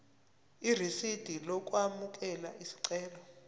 irisidi lokwamukela isicelo